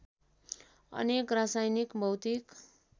अनेक रासायनिक भौतिक